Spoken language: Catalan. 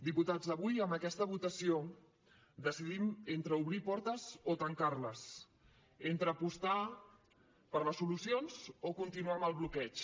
diputats avui amb aquesta votació decidim entre obrir portes o tancar les entre apostar per les solucions o continuar amb el bloqueig